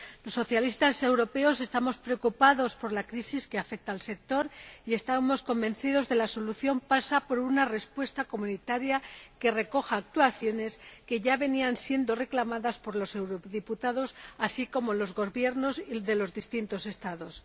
Los socialistas europeos estamos preocupados por la crisis que afecta al sector y estamos convencidos de que la solución pasa por una respuesta de la UE que recoja actuaciones que ya venían siendo reclamadas por los eurodiputados, así como por los Gobiernos de los distintos Estados.